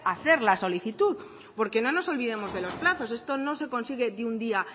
hacer la solicitud porque no nos olvidemos de los plazos esto no se consigue de un día